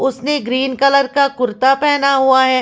उसने green colour का कुर्ता पहना हुआ हैं।